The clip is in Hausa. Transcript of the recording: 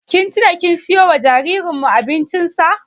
Kin tina kin siyo wa jaririn mu abincin sa?